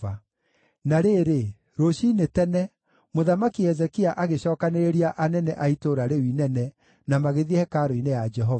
Na rĩrĩ, rũciinĩ tene, Mũthamaki Hezekia agĩcookanĩrĩria anene a itũũra rĩu inene na magĩthiĩ hekarũ-inĩ ya Jehova.